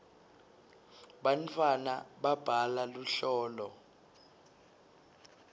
bantwana babhala luhlolo